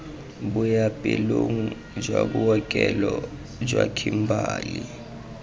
boapeelong jwa bookelo jwa kimberley